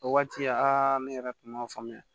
O waati aa ne yɛrɛ tun ma faamuya